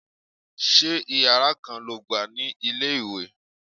Ṣé Ìyàrá kan lo gbà ní ilé-ìwé?